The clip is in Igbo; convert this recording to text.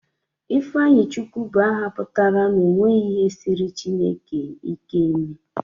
Ifeanyichukwu bụ aha pụtara 'o nweghi ihe siiri Chineke ike ime'